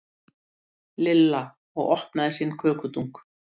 Lilla og opnaði sinn kökudunk.